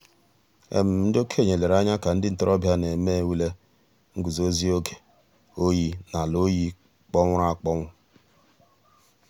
ǹdí òkènye lèrè ànyà kà ńdí ntòròbịa nà-èmè ǔlè ngùzòzì ògè òyì n'àlà òyì kpọ̀nwụrụ̀ àkpọnwụ̀.